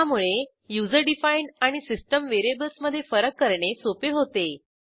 त्यामुळे user defined आणि system variables मधे फरक करणे सोपे होते